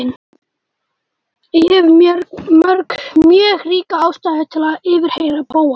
Ég hef mjög ríka ástæðu til að yfirheyra Bóas.